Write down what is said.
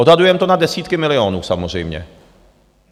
Odhadujeme to na desítky milionů, samozřejmě.